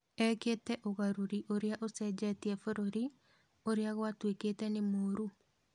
Ekĩte ugarũri ũria ucejetia bũrũri ũria gwatuĩkĩte nĩ mũru